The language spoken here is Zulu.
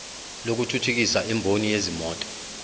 lokuthuthukisa imboni yezimoto